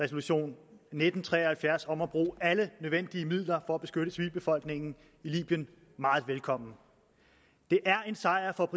resolution nitten tre og halvfjerds om at bruge alle nødvendige midler for at beskytte civilbefolkningen i libyen meget velkommen det er en sejr for